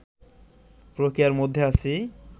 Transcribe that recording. প্রক্রিয়ার মধ্যে আছি